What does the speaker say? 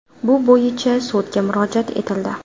Bu bo‘yicha sudga murojaat etildi.